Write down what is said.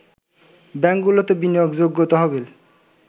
ব্যাংকগুলোতে বিনিয়োগযোগ্য তহবিল